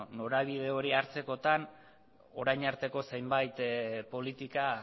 beno norabide hori hartzekotan orain arteko zenbait politika